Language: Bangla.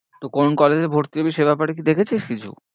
তো কোন college এ ভর্তি হবি সে ব্যাপারে কি দেখেছিস কিছু?